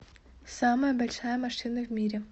самая большая машина в мире